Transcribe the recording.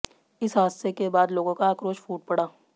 इस हादसे के बाद लोगों का आक्रोश फूट पड़ा